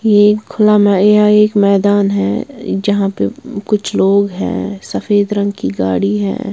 ये खुला यह एक मैदान है जहाँ पे कुछ लोग हैं सफेद रंग की गाड़ी है।